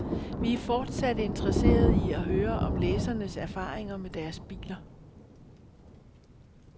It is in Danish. Vi er fortsat interesserede i at høre om læsernes erfaringer med deres biler.